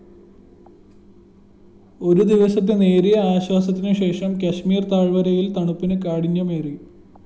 ഒരുദിവസത്തെ നേരിയ ആശ്വാസത്തിനുശേഷം കശ്മീര്‍ താഴ്‌വരയില്‍ തണുപ്പിന് കാഠിന്യമേറി